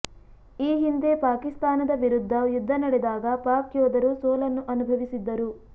ಈ ಹಿಂದೆ ಪಾಕಿಸ್ತಾನದ ವಿರುದ್ಧ ಯುದ್ಧ ನಡೆದಾಗ ಪಾಕ್ ಯೋಧರು ಸೋಲನ್ನು ಅನುಭವಿಸಿದ್ದರು